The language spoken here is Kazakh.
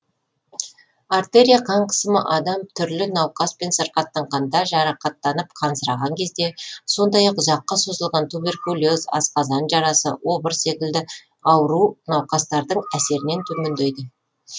артерия қан қысымы адам түрлі науқаспен сырқаттанғанда жарақаттанып қансыраған кезде сондай ақ ұзаққа созылған туберкулез асқазан жарасы обыр секілді ауру науқастардың әсерінен төмендейді